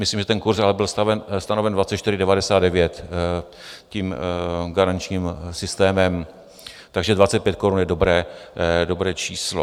Myslím, že ten kurz ale byl stanoven 24,99 garančním systémem, takže 25 korun je dobré číslo.